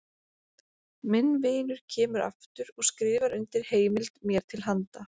Minn vinur kemur aftur og skrifar undir heimild mér til handa.